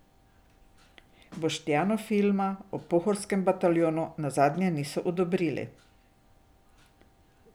Boštjanu filma o Pohorskem bataljonu nazadnje niso odobrili.